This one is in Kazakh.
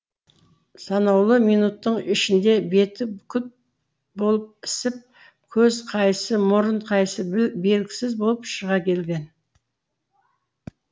санаулы минуттың ішінде беті күп болып ісіп көз қайсы мұрын қайсы белгісіз болып шыға келген